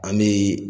An bɛ